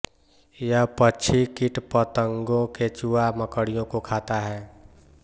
यह पक्षी कीटपतंगो केंचुआ मकड़ियों को खाता है